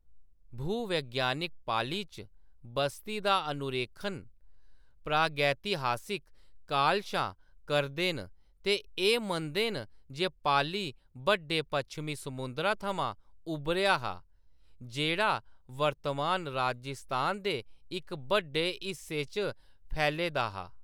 भूवैज्ञानिक पाली च बस्ती दा अनुरेखण प्रागैतिहासिक काल शा करदे न ते एह्‌‌ मनदे न जे पाली बड्डे पच्छमी समुंदरा थमां उब्भरेआ हा, जेह्‌‌ड़ा वर्तमान राजस्थान दे इक बड्डे हिस्से च फैले दा हा।